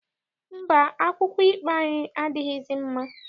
Mba, akwụkwọ ikpe anyị adịghịzi mma.